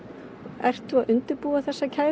ertu að undirbúa þessa kæru